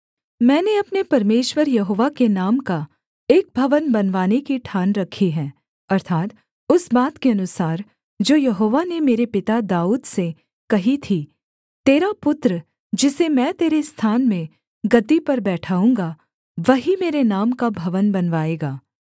मैंने अपने परमेश्वर यहोवा के नाम का एक भवन बनवाने की ठान रखी है अर्थात् उस बात के अनुसार जो यहोवा ने मेरे पिता दाऊद से कही थी तेरा पुत्र जिसे मैं तेरे स्थान में गद्दी पर बैठाऊँगा वही मेरे नाम का भवन बनवाएगा